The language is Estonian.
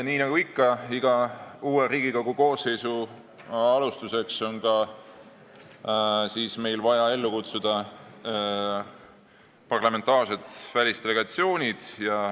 Nii nagu ikka iga uue Riigikogu koosseisu alguses, on meil vaja ellu kutsuda parlamentaarsed välisdelegatsioonid.